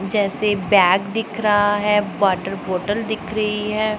जैसे बैग दिख रहा है वॉटर बॉटल दिख रही है।